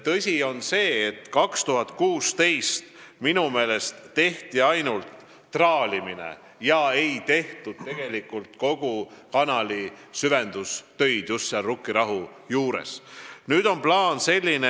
Tõsi on see, et 2016. aastal tehti minu meelest ainult traalimist ega tehtud kogu Rukkirahu kanali süvendustöid.